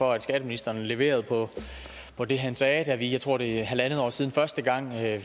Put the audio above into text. for at skatteministeren leverede på på det han sagde da vi jeg tror det er en en halv år siden første gang havde